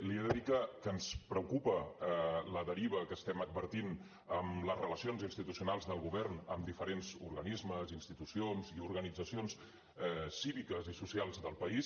li he de dir que ens preocupa la deriva que estem advertint en les relacions institucionals del govern amb diferents organismes institucions i organitzacions cíviques i socials del país